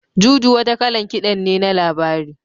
Juju wata kalan kiɗan ne na labari.